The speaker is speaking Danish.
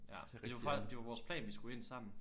Ja det var det var vores plan vi skulle ind sammen